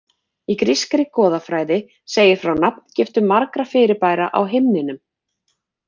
Í grískri goðafræði segir frá nafngiftum margra fyrirbæra á himninum.